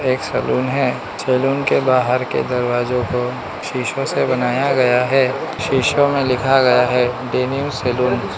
एक सलून है सैलून के बाहर के दरवाजों को शीशो से बनाया गया है शीशो में लिखा गया है डेनिम सलून --